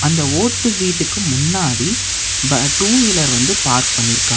இந்த ஓட்டு வீட்டுக்கு முன்னாடி வ டூ வீலர் வந்து பார்க் பண்ணிருக்காங்.